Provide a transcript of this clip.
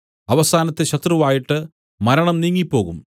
അവസാനത്തെ ശത്രുവായിട്ട് മരണം നീങ്ങിപ്പോകും